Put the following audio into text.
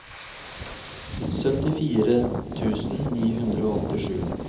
syttifire tusen ni hundre og åttisju